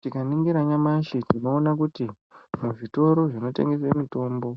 Tikaningira nyamashi, tinoona kuti muzvitoro zvinotengese mitombo,